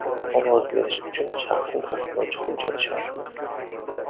Ovoz berish uchun shaxsni tasdiqlovchi hujjat shartmi?